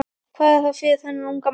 Hvað var það fyrir þennan unga mann?